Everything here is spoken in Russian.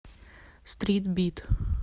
стрит бит